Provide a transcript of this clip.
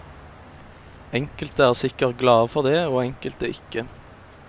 Enkelte er sikkert glade for det, og enkelte ikke.